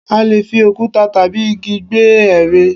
A leè fi òkúta tàbí igi gbẹ́ ère